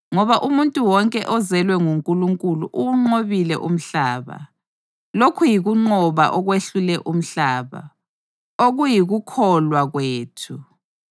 ngoba umuntu wonke ozelwe nguNkulunkulu uwunqobile umhlaba. Lokhu yikunqoba okwehlule umhlaba, okuyikukholwa kwethu.